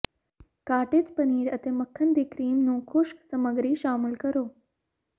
cottage paneer ਅਤੇ ਮੱਖਣ ਦੇ ਕਰੀਮ ਨੂੰ ਖੁਸ਼ਕ ਸਮੱਗਰੀ ਸ਼ਾਮਲ ਕਰੋ